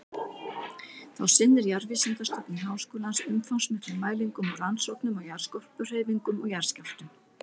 Þá sinnir Jarðvísindastofnun Háskólans umfangsmiklum mælingum og rannsóknum á jarðskorpuhreyfingum og jarðskjálftum.